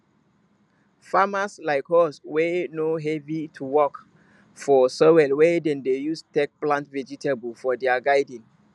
farmers like hoes wey no heavy to work for soil wey dem de use take plant vegetable for their garden